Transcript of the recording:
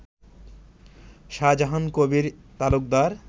Shahjahan Kabir Talukdar